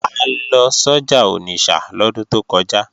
A lọ sọ́jà Onitsha lọ́dún tó kọjá